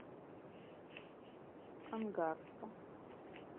ангарска